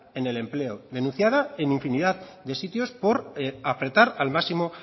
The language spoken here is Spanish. en el empleo denunciada en infinidad de sitios por apretar al máximo